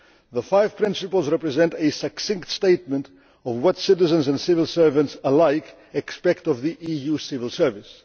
The five principles represent a succinct statement of what citizens and civil servants alike expect of the EU civil service.